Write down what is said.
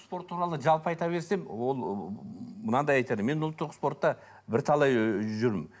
спорт туралы жалпы айта берсем ол мынандай айтады мен ұлттық спортта бірталай ы жүрмін